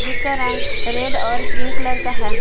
जिसका रंग रेड और क्रीम कलर का है।